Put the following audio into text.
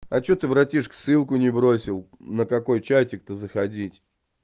а что ты братишка ссылку не бросил на какой чатик то заходить